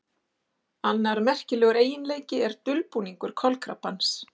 Annar merkilegur eiginleiki er dulbúningur kolkrabbans.